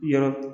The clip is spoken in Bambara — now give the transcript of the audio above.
Yɔrɔ